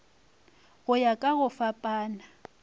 go ya ka go fapana